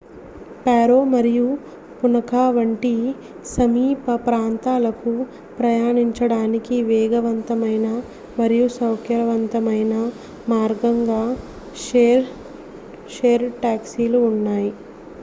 Paro nu 150 మరియు Punakha nu 200 వంటి సమీప ప్రాంతాలకు ప్రయాణించడానికి వేగవంతమైన మరియు సౌకర్యవంతమైన మార్గంగా షేర్ డ్ టాక్సీలు ఉన్నాయి